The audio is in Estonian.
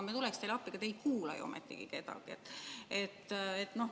Me tuleksime teile appi, aga te ei kuula ju ometigi kedagi.